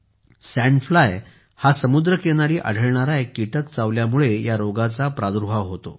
sand फ्लायहा समुद्रकिनारी आढळणारा एक किटक चावल्यामुळे या रोगाचा प्रादुर्भाव होतो